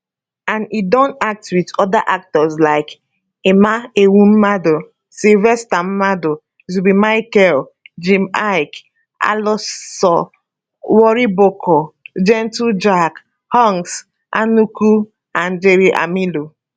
and e don act wit oda actors like emma ehumadu sylvester madu zubby michael jim iyke alaso wariboko gentle jack hanks anuku and jerry amilo